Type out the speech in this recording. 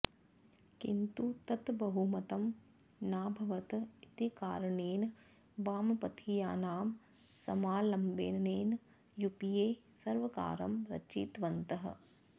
किन्तु तत् बहुमतं नाभवत् इतिकारणेन वामपथीयानाम् समालम्बनेन युपिए सर्वकारं रचितवन्तः